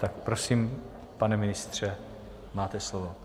Tak prosím, pane ministře, máte slovo.